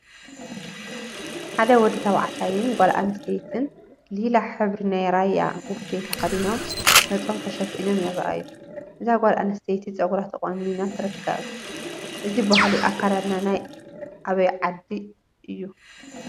ሓደ ወዲ ተባዕታይን ጓል አንስተይቲን ሊላ ሕብሪ ናይ ራያ ቡፌ ተከዲኖም ገፆም ተሸፊኖም ይርአዩ፡፡ እዛ ጓል አንስተይቲ ፀጉራ ተቆኒና ትርከብ፡፡ እዚ ባህሊ አከዳድና ናይ አበይ ዓዲ እዩ?